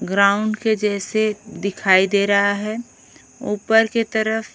ground के जैसे दिखाई दे रहा है ऊपर के तरफ--